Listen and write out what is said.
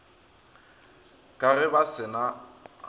ka ge ba se na